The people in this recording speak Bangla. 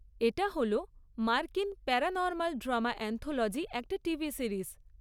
এটা হল মার্কিন প্যারানরমাল ড্রামা অ্যান্থলজি একটা টিভি সিরিজ।